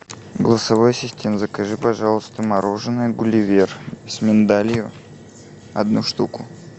голосовой ассистент закажи пожалуйста мороженое гулливер с миндалем одну штуку